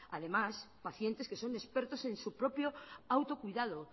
además pacientes que son expertos en su propio autocuidado